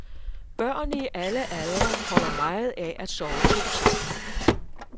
Børn i alle aldre holder meget af at sove to sammen.